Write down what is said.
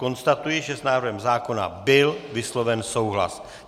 Konstatuji, že s návrhem zákona byl vysloven souhlas.